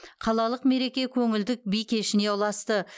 қалалық мереке көңілді би кешіне ұласты